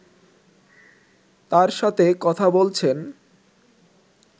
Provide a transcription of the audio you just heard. তাঁর সাথে কথা বলছেন